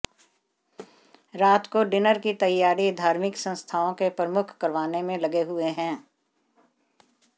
रात को डिनर की तैयारी धार्मिक संस्थाओं के प्रमुख करवाने में लगे हुए हैं